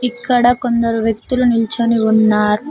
ఇక్కడ కొందరు వ్యక్తులు నిల్చొని ఉన్నారు.